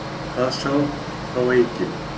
Það sá þá enginn.